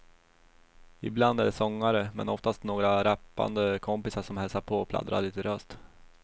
Ibland är det sångare, men oftast bara några rappande kompisar som hälsar på och pladdrar lite löst.